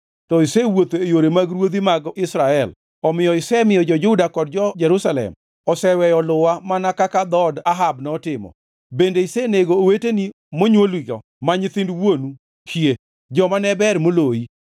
To isewuotho e yore mag ruodhi mag Israel, omiyo isemiyo jo-Juda kod jo-Jerusalem oseweyo luwa mana kaka dhood Ahab notimo. Bende isenego oweteni monywoligo ma nyithind wuonu hie, joma ne ber moloyi.